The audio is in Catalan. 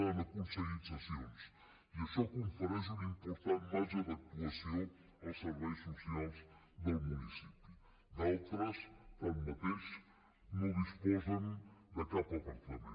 han aconseguit cessions i això confereix un important marge d’actuació als serveis socials del municipi d’altres tanmateix no disposen de cap apartament